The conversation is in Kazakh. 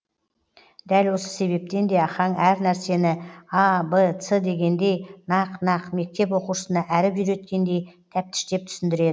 дәл осы себептен де ахаң әр нәрсені а б с дегендей нақ нақ мектеп оқушысына әріп үйреткендей тәптіштеп түсіндіреді